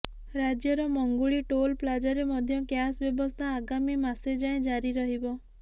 ରାଜ୍ୟର ମଙ୍ଗୁଳି ଟୋଲ୍ ପ୍ଲାଜାରେ ମଧ୍ୟ କ୍ୟାସ୍ ବ୍ୟବସ୍ଥା ଆଗାମୀ ମାସେ ଯାଏଁ ଜାରି ରହିବ